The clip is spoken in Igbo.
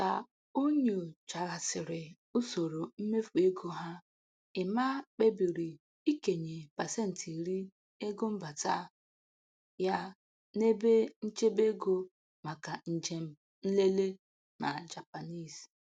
Ka o nyochaghasịrị usoro mmefu ego ha, Emma kpebiri ikenye pasentị iri ego mbata ya n'ebe nchebe ego maka njem nlele na Japanese.